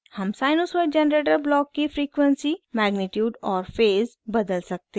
हम sinusoid generator block की frequency आवृति मैग्नीट्यूड परिमाण और फेज़ अवस्था बदल सकते हैं